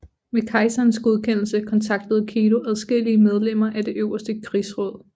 Med kejserens godkendelse kontaktede Kido adskillige medlemmer af det øverste krigsråd